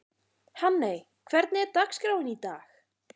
Hanney, hvernig er dagskráin í dag?